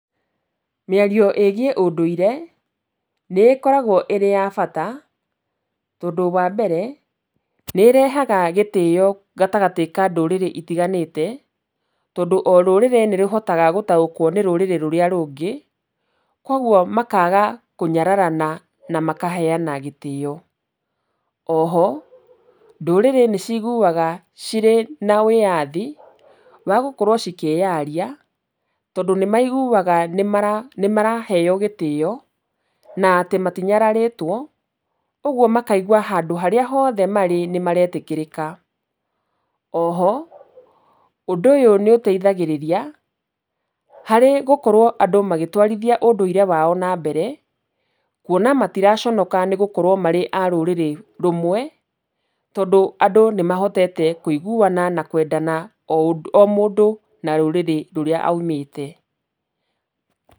Mĩario ĩgiĩ ũndũire nĩ ĩkoragwo ĩrĩ ya bata, tondũ wa mbere nĩ ĩrehaga gĩtĩo gatagatĩ ka ndũrĩrĩ itiganĩte, tondũ o rũrĩrĩ nĩ rũhotaga nĩ gũtaũkwo nĩ rũrĩrĩ rũrĩa rũngĩ, koguo makaga kũnyararana na makaheana gĩtĩo. O ho , ndũrĩrĩ nĩ ciguaga cirĩ na wĩyathi wa gũkorwo cikĩaria, tondũ nĩ maiguaga nĩ maraheyo gĩtĩo na atĩ matinyararĩtwo, ũguo makaigua handũ harĩa hothe marĩ nĩ maretĩkĩrĩka. O ho , ũndũ ũyũ nĩ ũteithagĩrĩria harĩ gũkorwo andũ magĩtwarithia ũndũire wao na mbere kuona matiraconoka gũkorwo marĩ a rũrĩrĩ rũmwe, tondũ andũ nĩ mahotete kũiguana na kwendana o mũndũ na rũrĩrĩ rũrĩa aumĩte.